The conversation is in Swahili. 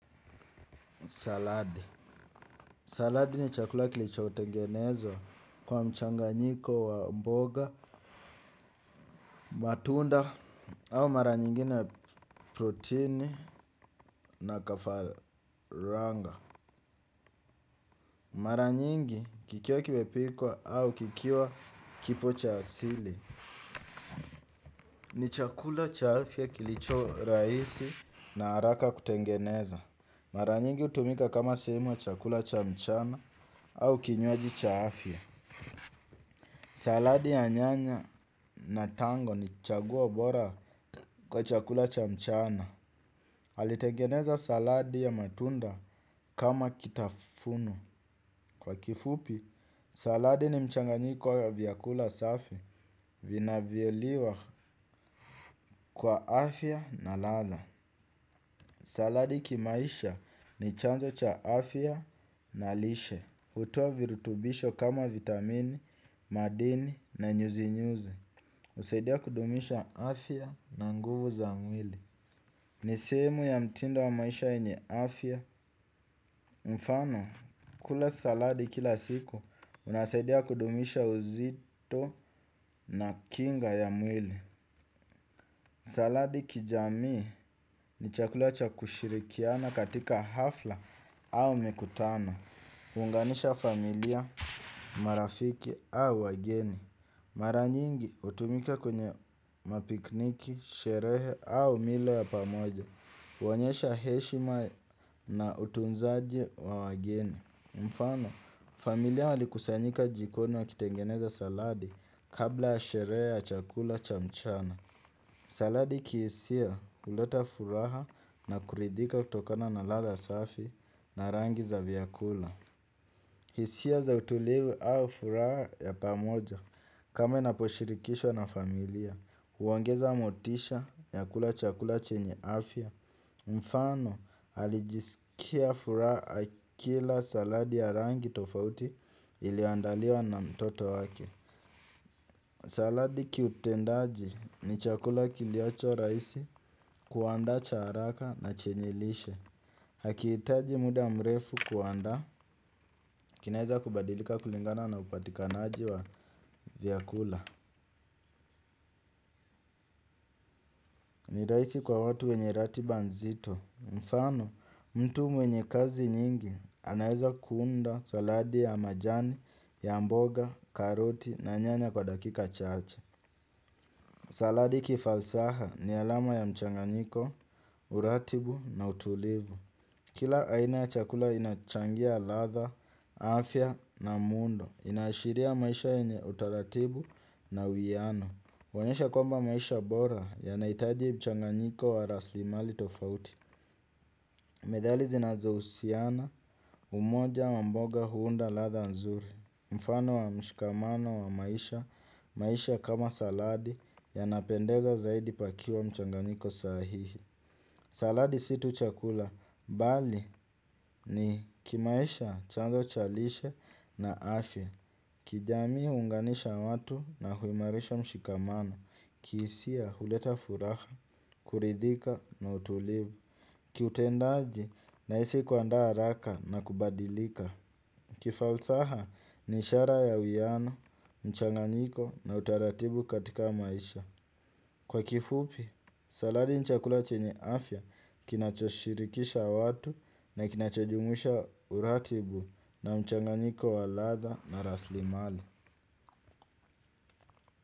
Saladi. Saladi ni chakula kilichotengenezwa kwa mchanganyiko wa mboga, matunda au mara nyingine protini na kafaranga. Mara nyingi kikiwa kimepikwa au kikiwa kipo cha asili. Ni chakula cha afya kilicho rahisi na haraka kutengeneza. Mara nyingi hutumika kama sehemu ya chakula cha mchana au kinywaji cha afya. Saladi ya nyanya na tango ni chagoa bora kwa chakula cha mchana. Alitengeneza saladi ya matunda kama kitafuno. Kwa kifupi, saladi ni mchanganyiko ya vyakula safi vinavyoliwa kwa afya na ladha. Saladi kimaisha ni chanzo cha afya na lishe. Hutoa virutubisho kama vitamini, madini na nyuzinyuzi. Husaidia kudumisha afya na nguvu za mwili. Ni sehemu ya mtindo wa maisha yenye afya. Mfano, kula saladi kila siku kunasaidia kudumisha uzito na kinga ya mwili. Saladi kijamii ni chakula cha kushirikiana katika hafla au mikutano huunganisha familia, marafiki au wageni. Mara nyingi hutumika kwenye mapikniki, sherehe au milo ya pamoja, huonyesha heshima na utunzaji wa wageni. Mfano, familia walikusanyika jikoni wakitengeneza saladi kabla ya sherehe ya chakula cha mchana. Saladi kihisia huleta furaha na kuridhika kutokana na ladha safi na rangi za vyakula. Hisia za utulivu au furaha ya pamoja kama inaposhirikishwa na familia, huongeza motisha ya kula chakula chenye afya, mfano alijisikia furaha akila saladi ya rangi tofauti iliyoandaliwa na mtoto wake. Saladi kiutendaji ni chakula kiliocho raisi kuandaa cha haraka na chenye lishe. Hakihitaji muda mrefu kuandaa, kinaeza kubadilika kulingana na upatikanaji wa vyakula. Ni rahisi kwa watu wenye ratiba nzito. Mfano, mtu mwenye kazi nyingi, anaeza kuunda saladi ya majani, ya mboga, karoti na nyanya kwa dakika chache. Saladi kifalsaha ni alama ya mchanganyiko, uratibu na utulivu. Kila aina ya chakula inachangia ladha, afya na muundo. Inaashiria maisha yenye utaratibu na uwiyano huonyesha kwamba maisha bora yanahitaji mchanganyiko wa raslimali tofauti. Methali zinazo husiana, umoja wa mboga huunda ladha nzuri. Mfano wa mshikamano wa maisha, maisha kama saladi yanapendeza zaidi pakiwa mchanganyiko sahihi. Saladi si tu chakula, bali ni kimaisha chanzo cha lishe na afya. Kijamii huunganisha watu na huimarisha mshikamano, kihisia huleta furaha, kuridhika na utulivu, kiutendaji nahisi kuandaa haraka na kubadilika. Kifalsaha ni ishara ya uwiyano, mchanganiko na utaratibu katika maisha. Kwa kifupi, saladi ni chakula chenye afya kinachoshirikisha watu na kinacho jumuisha uratibu na mchanganyiko wa ladha na raslimali.